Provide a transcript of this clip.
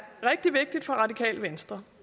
rigtig vigtigt for radikale venstre